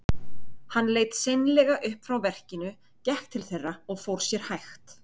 Hann leit seinlega upp frá verkinu, gekk til þeirra og fór sér hægt.